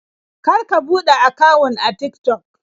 Kar ka buɗe akawun a Tik-Tok.